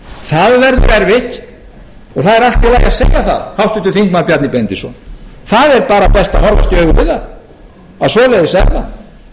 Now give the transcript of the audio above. það verður erfitt og það er allt í lagi að segja það háttvirtur þingmaður bjarni benediktsson það er bara best að horfast í augu við það að svoleiðis er það